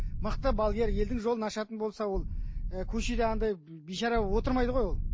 мықты балгер елдің жолын ашатын болса ол ы көшеде андай бейшара болып отырмайды ғой ол